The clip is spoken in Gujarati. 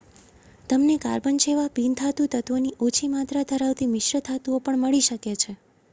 તમને કાર્બન જેવા બિન-ધાતુ તત્ત્વોની ઓછી માત્રા ધરાવતી મિશ્ર ધાતુઓ પણ મળી શકે છે